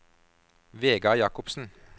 Vegard Jakobsen